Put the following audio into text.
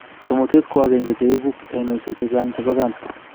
Timotet ko ae de en cheibu ainisiek chechang chebo kansa